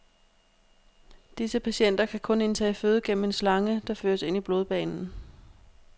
Disse patienter kan kun indtage føde gennem en slange, der føres ind i blodbanen.